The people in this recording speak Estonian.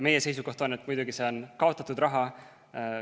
Meie seisukoht on muidugi, et see on kaotatud raha.